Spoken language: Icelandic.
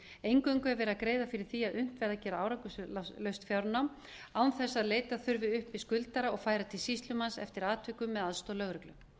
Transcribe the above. eingöngu er verið að greiða fyrir því að unnt verði að gera árangurslaust fjárnám án þess að leita þurfi uppi skuldara og færa til sýslumanns eftir atvikum með aðstoð lögreglu